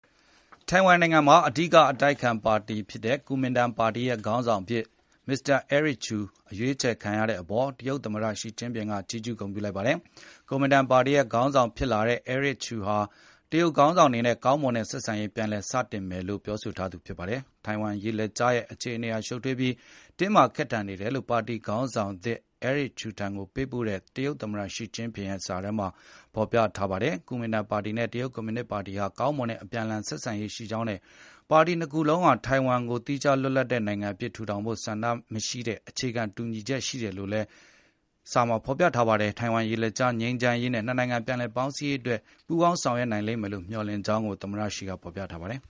ထိုင်ဝမ်နိုင်ငံမှာ အဓိကအတိုက်အခံပါတီဖြစ်တဲ့ ကူမင်တန်ပါတီရဲ့ ခေါင်းဆောင်အဖြစ် Eric Chu ရွေးချယ်ခံရတဲ့အပေါ် တရုတ်သမ္မတ Xi Jinping က ချီးကျူးဂုဏ်ပြုလိုက်ပါတယ်။ ကူမင်တန်ပါတီရဲ့ ခေါင်းဆောင်ဖြစ်လာတဲ့ Eric Chu ဟာ တရုတ်ခေါင်းဆောင်တွေနဲ့ ကောင်းမွန်တဲ့ ဆက်ဆံရေး ပြန်လည်စတင်မယ်လို့ ပြောဆိုထားသူ ဖြစ်ပါတယ်။ ထိုင်ဝမ်ရေလက်ကြားရဲ့ အခြေအနေဟာ ရှုပ်ထွေးပြီး တင်းမာခက်ထန်နေတယ်လို့ ပါတီခေါင်းဆောင်သစ် Eric Chu ထံကိုပေးပို့တဲ့ တရုတ်သမ္မတ Xi Jinping ရဲ့ စာထဲမှာ ဖော်ပြထားပါတယ်။ ကူမင်တန်ပါတီနဲ့ တရုတ်ကွန်မြူနစ်ပါတီတို့ဟာ ကောင်းမွန်တဲ့ အပြန်အလှန် ဆက်ဆံရေး ရှိခဲ့ကြောင်းနဲ့ ပါတီနှစ်ခုစလုံးဟာ ထိုင်ဝမ်ကို သီးခြားလွတ်လပ်တဲ့ နိုင်ငံအဖြစ် ထူထောင်ဖို့ ဆန္ဒမရှိတဲ့ အခြေခံခြင်း တူညီတယ်လို့လည်း ဆိုပါတယ်။ ထိုင်ဝမ်ရေလက်ကြား ငြိမ်းချမ်းရေးနဲ့ နှစ်နိုင်ငံ ပြန်လည်ပေါင်းစည်းရေးအတွက် ပူးပေါင်းဆောင်ရွက်နိုင်လိမ့်မယ်လို့ မျှော်လင့်ကြောင်းကိုလည်း သမ္မတ Xi က ဖော်ပြထားပါတယ်